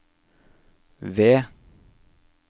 ved